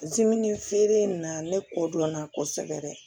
feere in na ne kɔ dɔnna kosɛbɛ dɛ